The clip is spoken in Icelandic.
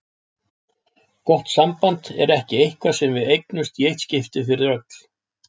Gott samband er ekki eitthvað sem við eignumst í eitt skipti fyrir öll.